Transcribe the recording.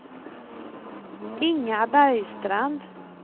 Inga Bergstrand